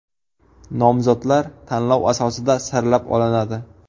Nomzodlar tanlov asosida saralab olinadi.